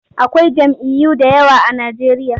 Akwai jam'iyyu da yawa a Najeriya.